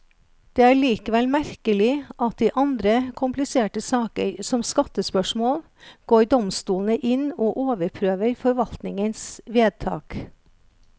Det er likevel merkelig at i andre kompliserte saker, som skattespørsmål, går domstolene inn og overprøver forvaltningens vedtak.